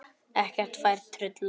Ekkert fær truflað mig.